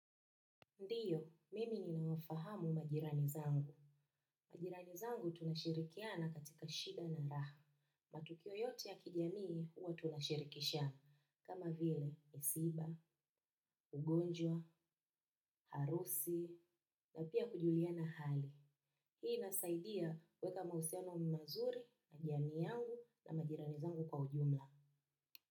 Ndiyo, mimi ninawafahamu majirani zangu. Majirani zangu tunashirikiana katika shida na raha. Matukio yote ya kijamii huwa tunashirikisha. Kama vile, misiba, ugonjwa, harusi, na pia kujuliana hali. Hii inasaidia kuweka mahusiano mazuri, na jamii yangu na majirani zangu kwa ujumla.